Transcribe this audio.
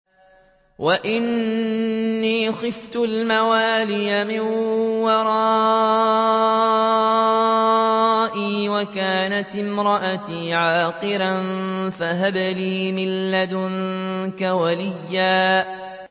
وَإِنِّي خِفْتُ الْمَوَالِيَ مِن وَرَائِي وَكَانَتِ امْرَأَتِي عَاقِرًا فَهَبْ لِي مِن لَّدُنكَ وَلِيًّا